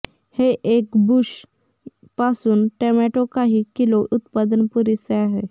हे एक बुश पासून टोमॅटो काही किलो उत्पादन पुरेसे आहे